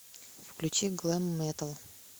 включи глэм метал